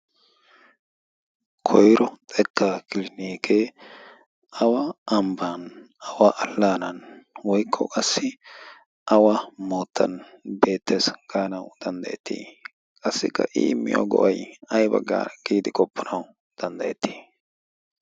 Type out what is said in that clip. Koyro xekka kilinike awa ambba awa alanna woykko qassi awa moottan beettees gaanaw danddaayetii? qassikka i immiyo go'ay aybba gidi qopanaw danddayetii?